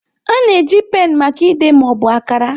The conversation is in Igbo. A na-eji pen maka ide ma ọ bụ akara.